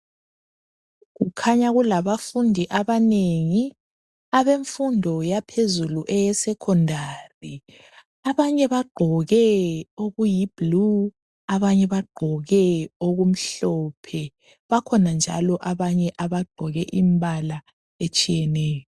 Kukhanya kulabafundi abanengi abemfundo yaphezulu eyesekhodari. Abanye bagqoke okuyiblu, abanye bagqoke okumhlophe. Bakhona njalo abanye abagqoke imbala etshiyeneyo.